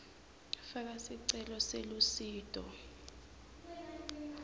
faka sicelo selusito